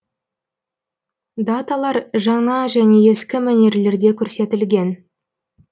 даталар жаңа және ескі мәнерлерде көрсетілген